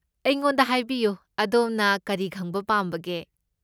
ꯑꯩꯉꯣꯟꯗ ꯍꯥꯏꯕꯤꯌꯨ, ꯑꯗꯣꯝꯅ ꯀꯔꯤ ꯈꯪꯕ ꯄꯥꯝꯕꯒꯦ?